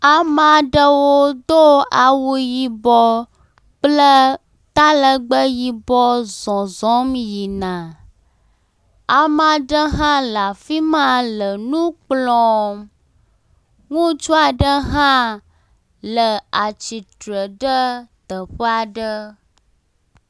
Ame aɖewo do awu yibɔ kple talegbe yibɔ zɔzɔm yina. Ame aɖe hã le afi ma le nu kplɔm. Ŋutsu aɖe hã le atsitre ɖe teƒe aɖe.